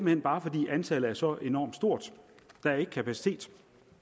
hen bare fordi antallet er så enormt stort der er ikke kapacitet